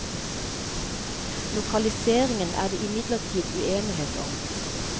Lokaliseringen er det imidlertid uenighet om.